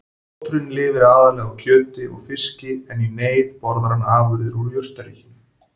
Oturinn lifir aðallega á kjöti og fiski en í neyð borðar hann afurðir úr jurtaríkinu.